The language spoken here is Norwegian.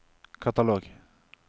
katalog